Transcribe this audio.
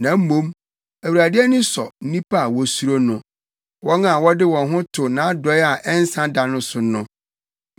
Na mmom, Awurade ani sɔ nnipa a wosuro no, wɔn a wɔde wɔn ho to nʼadɔe a ɛnsa da no so no.